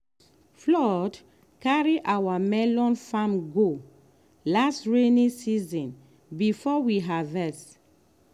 flood carry our melon farm go last rainy season before we harvest.